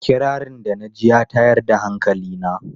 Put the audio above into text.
Kirarin da na ji ya tayar da hankali na.